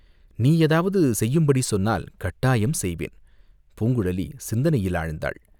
நீ ஏதாவது செய்யும்படி சொன்னால், கட்டாயம் செய்வேன்!" பூங்குழலி சிந்தனையில் ஆழ்ந்தாள்.